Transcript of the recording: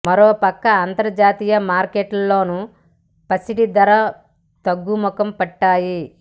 మరో పక్క అంతర్జాతీయ మార్కెట్లోనూ పసిడి ధరలు తగ్గుముఖం పట్టాయి